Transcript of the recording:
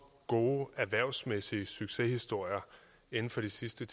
gode erhvervsmæssige succeshistorier inden for de sidste